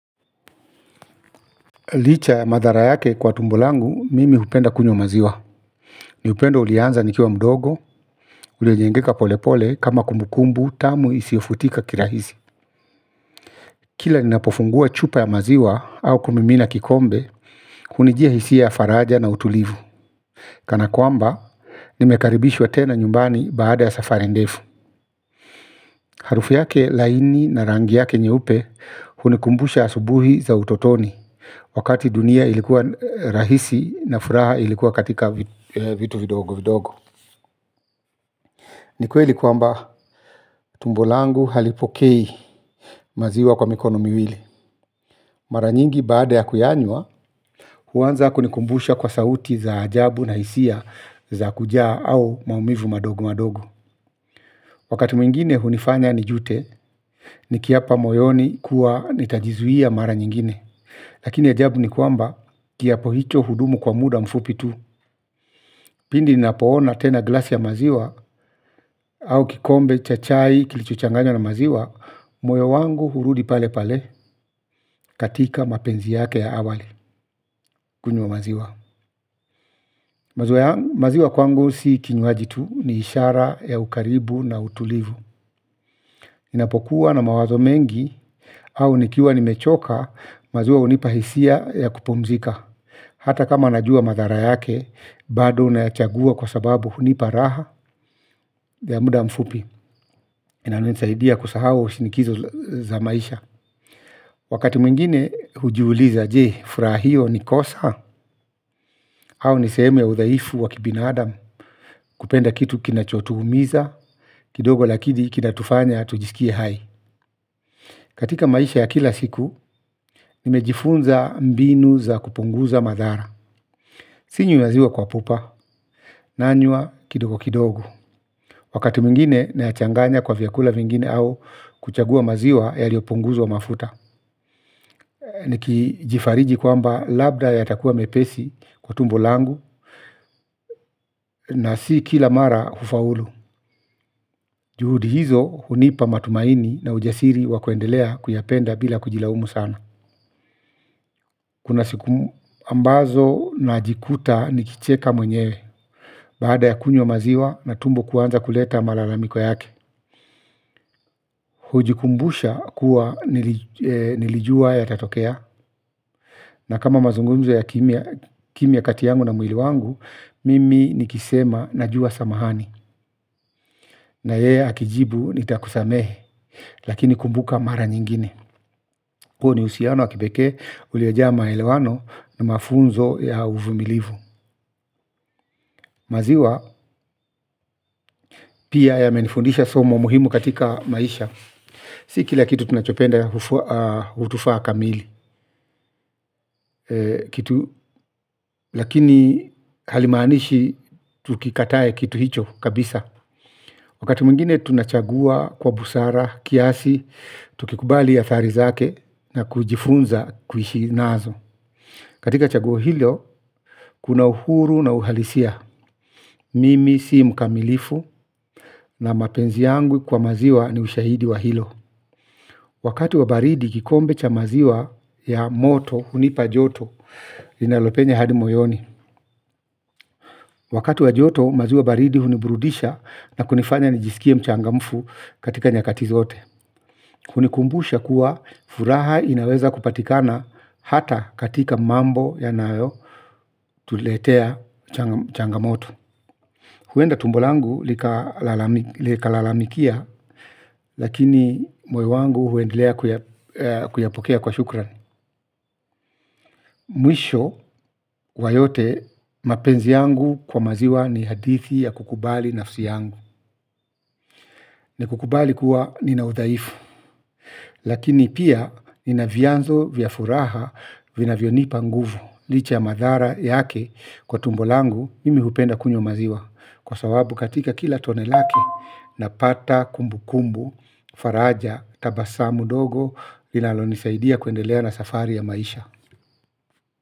Licha ya madhara yake kwa tumbo langu, mimi hupenda kunywa maziwa. Ni upendo ulianza nikiwa mdogo, uliojengeka polepole kama kumbukumbu tamu isiofutika kirahisi. Kila ninapofungua chupa ya maziwa au kumimina kikombe, kunijia hisi ya faraja na utulivu. Kana kwamba, nimekaribishwa tena nyumbani baada ya safari ndefu. Harufu yake laini na rangi yake nyeupe, hunikumbusha asubuhi za utotoni. Wakati dunia ilikuwa rahisi na furaha ilikuwa katika vitu vidogo vidogo. Ni kweli kwamba tumbo langu halipokei maziwa kwa mikono miwili. Mara nyingi baada ya kuyanywa huanza kunikumbusha kwa sauti za ajabu na hisia za kujaa au maumivu madogo madogo. Wakati mwingine hunifanya nijute nikiapa moyoni kuwa nitajizuia mara nyingine. Lakini ajabu ni kwamba kiapo hicho hudumu kwa muda mfupi tu. Pindi ninapoona tena glasi ya maziwa au kikombe cha chai kilichchanganywa na maziwa, moyo wangu hurudi pale pale katika mapenzi yake ya awali kunywa maziwa. Maziwa kwangu si kinywaji tu ni ishara ya ukaribu na utulivu. Ninapokuwa na mawazo mengi au nikiwa nimechoka maziwa unipa hisia ya kupumzika. Hata kama najua madhara yake bado nayachagua kwa sababu hunipa raha ya muda mfupi. Inanuenisaidia kusahao shinikizo za maisha Wakati mwingine hujiuliza je furaha hio ni kosa Au nisehemu ya udhaifu wa kibinaadam. Kupenda kitu kinacho tuumiza kidogo lakini kinatufanya tujisikie hai. Katika maisha ya kila siku nimejifunza mbinu za kupunguza madhara. Sinywi maziwa kwa pupa. Nanywa kidogo kidogo. Wakati mwingine nayachanganya kwa vyakula vingine au kuchagua maziwa yaliopunguzwa mafuta niki jifariji kwamba labda yatakua mepesi kwa tumbo langu na si kila mara hufaulu. Juhudi hizo hunipa matumaini na ujasiri wakuendelea kuyapenda bila kujilaumu sana. Kuna sikumu ambazo najikuta nikicheka mwenye. Baada ya kunywa maziwa na tumbo kuanza kuleta malalamiko yake hujikumbusha kuwa nilijua yatatokea, na kama mazungumzo ya kimya kati yangu na mwili wangu, mimi nikisema najua samahani. Na yeye akijibu nitakusamehe, lakini kumbuka mara nyingine. Kuhu ni uhusiano wakipekee uliojaa maelewano na mafunzo ya uvumilivu. Maziwa, pia yamenifundisha somo muhimu katika maisha. Si kila kitu tunachopenda hutufaa kamili. Lakini halimaanishi tukikataye kitu hicho kabisa. Wakati mwingine tunachagua kwa busara, kiasi, tukikubali athari zake na kujifunza kuishi nazo. Katika chagua hilo, kuna uhuru na uhalisia. Mimi si mkamilifu na mapenzi yangu kwa maziwa ni ushahidi wa hilo. Wakati wa baridi kikombe cha maziwa ya moto hunipa joto linalopenya hadi moyoni. Wakati wa joto maziwa baridi huniburudisha na kunifanya nijisikie mchangamfu katika nyakati zote. Hunikumbusha kuwa furaha inaweza kupatikana hata katika mambo yanayo tuletea changamoto. Huenda tumbo langu likalalamikia lakini moyo wangu huendelea kuyapokea kwa shukran. Mwisho wa yote mapenzi yangu kwa maziwa ni hadithi ya kukubali nafsi yangu. Nikukubali kuwa ninaudhaifu. Lakini pia inavyanzo vya furaha vinavyonipa nguvu. Licha ya madhara yake kwa tumbo langu mimi hupenda kunywa maziwa. Kwa sawabu katika kila tone lake napata kumbukumbu, faraja, tabasamu dogo linalonisaidia kuendelea na safari ya maisha.